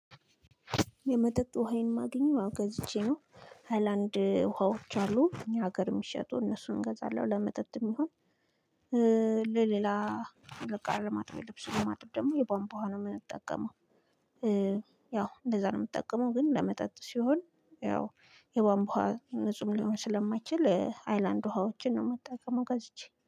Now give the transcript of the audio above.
የመጠጥ ውሃ የማገኘው ገዝቼ ነው። ሃይላንድ ውሃዎች አሉ ሀገር የሚሸጡ እነሱን እገዛለሁ ለመጠጥም ይሁን። ለሌላ እቃ ለማጠብ ልብሱን ለማጣብ ደግሞ የቧንቧ ነው የምንጠቀመው። ያው እንደዛ ነው የምጠቀመው ግን ለመጠጥ ሲሆን ያው የባንቧ ንጹህ ሊሆን ስለማይችል ሃይላንድ ውሃዎችን ነው የምጠቀመው ገዝቼ